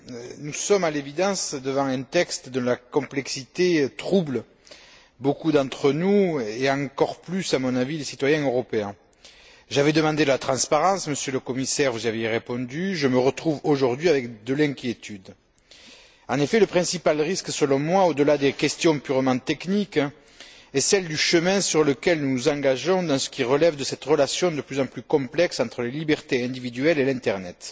Monsieur le Président, Monsieur le Commissaire, chers collègues, nous sommes à l'évidence devant un texte dont la complexité trouble beaucoup d'entre nous et, encore plus à mon avis, les citoyens européens. J'avais demandé la transparence, Monsieur le Commissaire, vous aviez répondu. Je me retrouve aujourd'hui avec de l'inquiétude. En effet, le principal risque selon moi, au delà des questions purement techniques, est celui du chemin sur lequel nous nous engageons dans ce qui relève de cette relation de plus en plus complexe entre les libertés individuelles et l'internet.